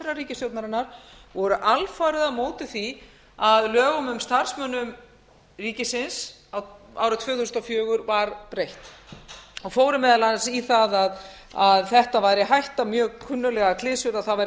ríkisstjórnarinnar voru alfarið á móti því að lögum um starfsmenn ríkisins árið tvö þúsund og fjögur var breytt og fóru meðal annars í það að þetta væri hætta mjög kunnuglegar klisjur að það væri